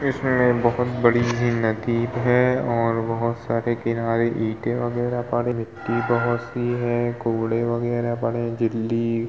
इसमे बहौत बड़ी सी नदी है और बहौत सारे किनारे ईटें वगैरह पड़े मिट्टी बहौत सी है कूड़े वगैरह पड़े हैं दिल्ली --